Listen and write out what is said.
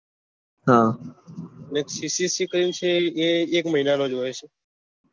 હા અને cc કરી ને છે એ એક મહિના નું હોય છે